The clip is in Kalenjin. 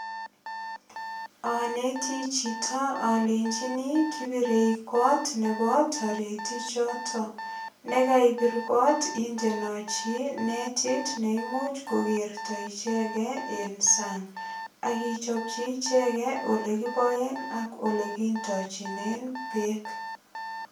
Aneti chito alenjini kibirei kot nebo taritichoto. Nekaibir kot indenochi netit nemuch kokerto ichegei eng sang. Ak ichopchi ichegei olekiboen ak olekindochen beek.